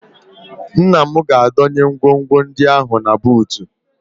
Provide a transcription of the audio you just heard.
Nna m ga-adọnye ngwongwo ndị ahụ na buutu